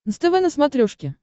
нств на смотрешке